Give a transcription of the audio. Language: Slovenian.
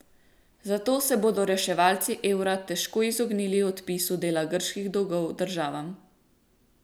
Zato se bodo reševalci evra težko izognili odpisu dela grških dolgov državam.